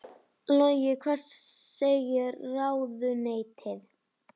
Logi: Hvað segir ráðuneytið?